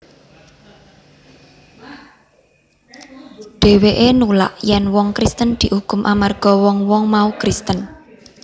Dhèwèké nulak yèn wong Kristen diukum amarga wong wong mau Kristen